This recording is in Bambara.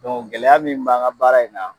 Dɔnku gɛlɛya min b'an ga baara in na